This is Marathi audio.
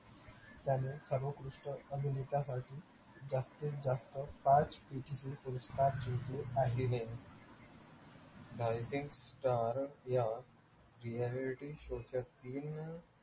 त्याने सर्वोत्कृष्ट अभिनेतासाठी जास्तीत जास्त पाच पुरस्कार जिंकले आहेत. star या reality show च्या तीन